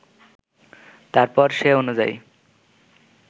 তারপর সে অনুযায়ী